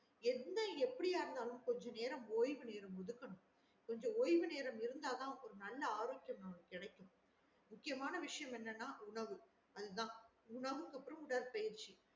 எந்த எப்டியா இருந்தாலும் கொஞ்ச நேரம் ஒய்வு நேரம் ஒதுக்கணும் கொஞ்ச ஓய்வு நேரம் இருந்த தான் ஒரு நல்ல ஆரோக்கியம் கெடைக்கும் முக்கியமான விசையம் என்னன்னா உணவு அதுதான் உணவுக்கு அப்புறம் உடற்பயிற்சி